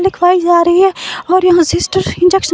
लिखवाई जा रही है और यहां सिस्टर इंजेक्शन --